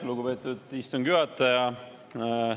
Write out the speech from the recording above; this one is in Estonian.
Lugupeetud istungi juhataja!